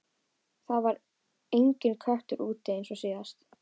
Það var enginn köttur úti eins og síðast.